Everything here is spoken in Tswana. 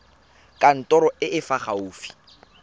kantorong e e fa gaufi